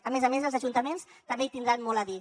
a més a més els ajuntaments també hi tindran molt a dir